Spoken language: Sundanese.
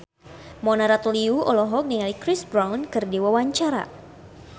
Mona Ratuliu olohok ningali Chris Brown keur diwawancara